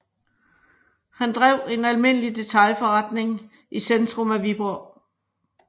Han drev en almindelig detailforretning i centrum af Viborg